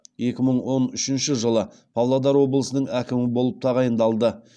екі мың он үшінші жылы павлодар облысының әкімі болып тағайындалды